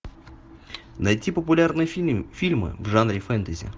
найти популярные фильмы в жанре фэнтези